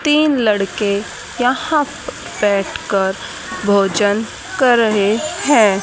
तीन लड़के यहां प बैठ कर भोजन कर रहे हैं।